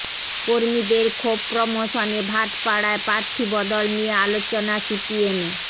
কর্মীদের ক্ষোভ প্রশমনে ভাটপাড়ায় প্রার্থী বদল নিয়ে আলোচনা সিপিএমে